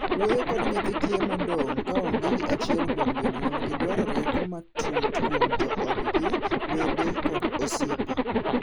Wuoyo kod nyithi kiye modong' kaonge gi achiel kuom jonyuolgi dwaro rieko matut kuom joodno, wede kod osiepe.